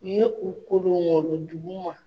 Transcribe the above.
U ye u kolongolo duguma.